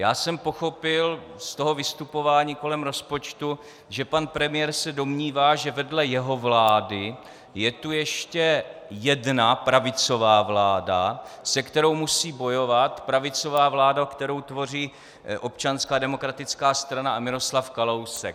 Já jsem pochopil z toho vystupování kolem rozpočtu, že pan premiér se domnívá, že vedle jeho vlády je tu ještě jedna pravicová vláda, se kterou musí bojovat, pravicová vláda, kterou tvoří Občanská demokratická strana a Miroslav Kalousek.